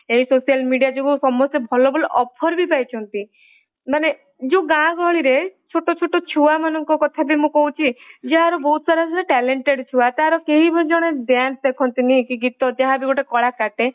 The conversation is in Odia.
social media ଯୋଗୁ ଭଲଭଲ offerମଧ୍ୟ ପାଇଛନ୍ତି। ମାନେ ଯୋଉ ଗାଁ ଗହଳିରେ ଛୋଟ ଛୁଆ ମାନଙ୍କ କଥା ବି ମୁଁ କହୁଛି, ୟାର ବହୁତ ସାରା ସବୁ talented ଛୁଆ ତାର କେହିବି ଜଣେ dance ଦେଖନ୍ତିନି କି ଗୀତ ଯାହାବି ଗୋଟେ କଳାକାର ଟେ।